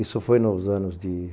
Isso foi nos anos de